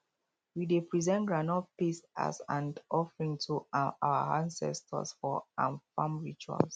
we dey present groundnut paste as and offering to um our ancestors for um farm rituals